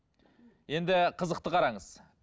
енді қызықты қараңыз